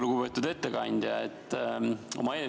Lugupeetud ettekandja!